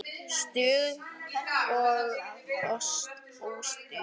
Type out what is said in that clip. Stuð og óstuð.